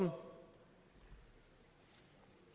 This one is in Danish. for